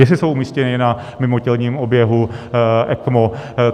Jestli jsou umístěni na mimotělním oběhu ECMO.